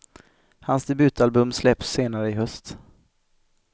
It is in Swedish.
Hans debutalbum släpps senare i höst.